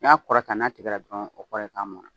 N'i y'a kɔrɔta n'a tigɛ dɔrɔn o kɔrɔ ye k'a mɔnna